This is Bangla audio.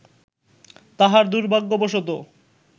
তাহার দুর্ভাগ্যবশত